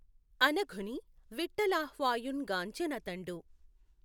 అనఘుని విట్ఠలాహ్వయుఁ గాంచె నతఁడు